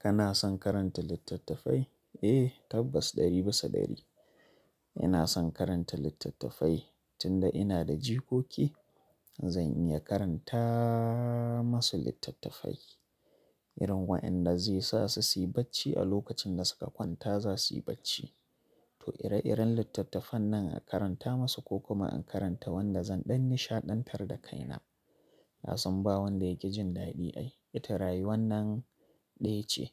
Kana son karanta littattafai? Eh tabbas ɗari bisa ɗari ina son karanta littattafai. Tunda ina da jikoki zan iya karanta masu littattafai irin waɗanda zai sa su siyi bacci a lokacin da suka kwanta za suyi bacci. To ire-iren littattafan nan a karanta masu ko kuma in karanta wanda zan ɗan nishaɗantar da kaina. Na sumba wanda yake jin daɗi ai ita raye wannan ɗaya ce